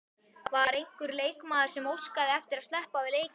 Var einhver leikmaður sem óskaði eftir að sleppa við leikinn?